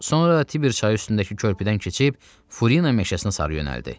Sonra Tiber çayı üstündəki körpüdən keçib Furina meşəsinə sarı yönəldi.